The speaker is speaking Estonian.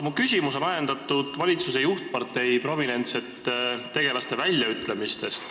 Mu küsimus on aga ajendatud valitsuse juhtpartei prominentsete tegelaste väljaütlemistest.